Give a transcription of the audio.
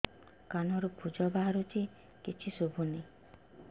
କାନରୁ ପୂଜ ବାହାରୁଛି କିଛି ଶୁଭୁନି